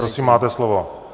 Prosím, máte slovo.